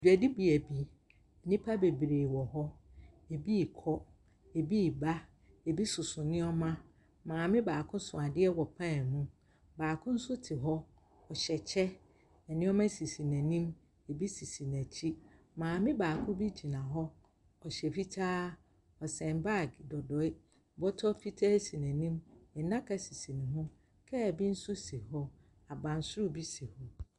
Dwadibea bi, nnipa bebree wɔ hɔ, bi rekɔ, bi reba, bi soso nneɛma. Maame baako so adeɛ wɔ pan mu, baako nso te hɔ, ɔhyɛ kyɛ, nneɛma sisi n’anim, bi sisi n’akyi, maame baako bi gyina hɔ, ɔhyɛ fitaa, ɔsɛn baage dodoe, bɔtɔ fitaa si n’anim, nnaka bi sisi ne ho, kaa bi nso si hɔ, abansoro bi si hɔ.